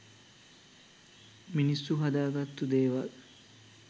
මිනිස්සු හදාගත්තු දේවල්.